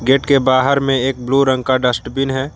Gate के बाहर में एक ब्लू रंग का डस्टबिन है।